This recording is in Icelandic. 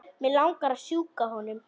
Mig langar að strjúka honum.